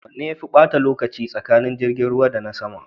Wanne yafe bata lokaci tsakanin jirgin ruwa da na sama?